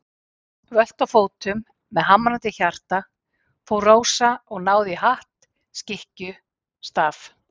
Völt á fótum, með hamrandi hjarta, fór Rósa og náði í hatt, skikkju, staf.